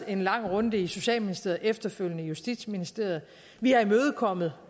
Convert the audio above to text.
en lang runde i socialministeriet efterfølgende i justitsministeriet vi har imødekommet